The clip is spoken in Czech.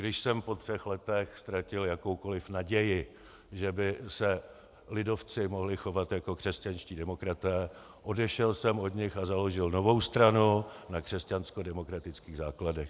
Když jsem po třech letech ztratil jakoukoliv naději, že by se lidovci mohli chovat jako křesťanští demokraté, odešel jsem od nich a založil novou stranu na křesťanskodemokratických základech.